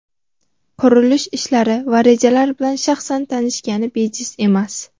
qurilish ishlari va rejalar bilan shaxsan tanishgani bejiz emas.